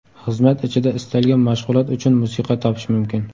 Xizmat ichida istalgan mashg‘ulot uchun musiqa topish mumkin.